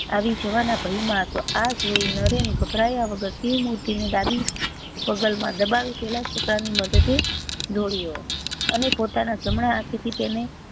આવી જવા ના ભય માં હતો આ જોઈ નરેન ગભરાયા વગર શિવ મૂર્તિ ને ડાભી બગલ માં દબાવી પેલા છોકરા ની મદદે દોડ્યો અને પોતાના જમના હાથે થી તેને